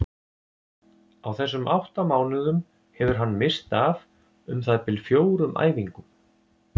Á þessum átta mánuðum hefur hann misst af um það bil fjórum æfingum.